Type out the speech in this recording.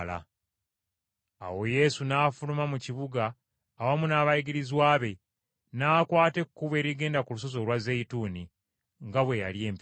Awo Yesu n’afuluma mu kibuga awamu n’abayigirizwa be n’akwata ekkubo erigenda ku lusozi olwa Zeyituuni nga bwe yali empisa ye.